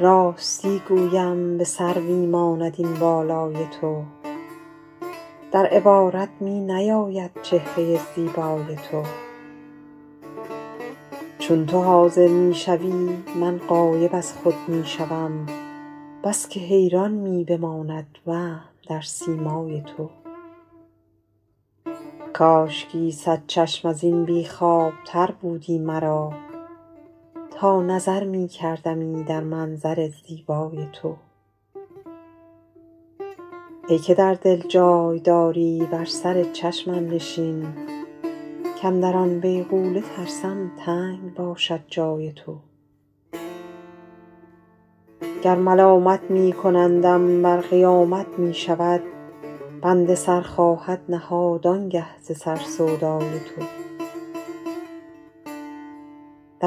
راستی گویم به سروی ماند این بالای تو در عبارت می نیاید چهره زیبای تو چون تو حاضر می شوی من غایب از خود می شوم بس که حیران می بماندم وهم در سیمای تو کاشکی صد چشم از این بی خوابتر بودی مرا تا نظر می کردمی در منظر زیبای تو ای که در دل جای داری بر سر چشمم نشین کاندر آن بیغوله ترسم تنگ باشد جای تو گر ملامت می کنندم ور قیامت می شود بنده سر خواهد نهاد آن گه ز سر سودای تو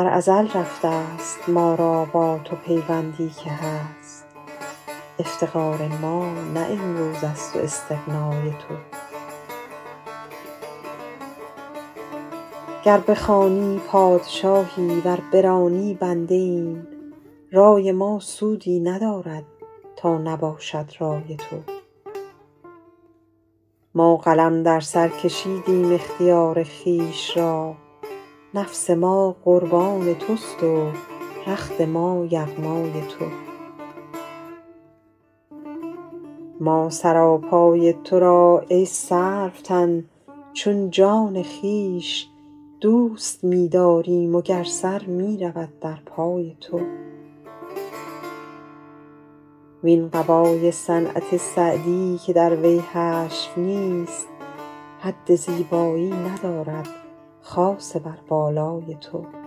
در ازل رفته ست ما را با تو پیوندی که هست افتقار ما نه امروز است و استغنای تو گر بخوانی پادشاهی ور برانی بنده ایم رای ما سودی ندارد تا نباشد رای تو ما قلم در سر کشیدیم اختیار خویش را نفس ما قربان توست و رخت ما یغمای تو ما سراپای تو را ای سروتن چون جان خویش دوست می داریم و گر سر می رود در پای تو وین قبای صنعت سعدی که در وی حشو نیست حد زیبایی ندارد خاصه بر بالای تو